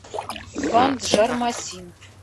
банджармасин